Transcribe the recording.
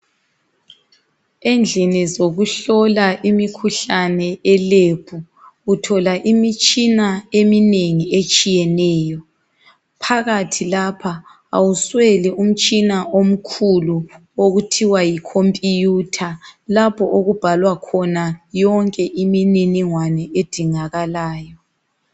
Endlini zokuhlola imikhuhlane e"Lab" uthola imitshina eminengi etshiyeneyo phakathi lapha awusweli umtshina omkhulu okuthiwa yi"computer" lapho okubhalwa khona yonke imininingwane edingakalayo.